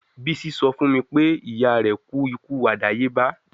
Bisi sọ fun mi pe iya rẹ ku iku adayeba